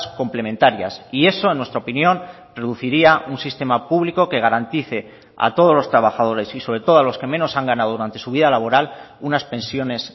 complementarias y eso en nuestra opinión reduciría un sistema público que garantice a todos los trabajadores y sobre todo a los que menos han ganado durante su vida laboral unas pensiones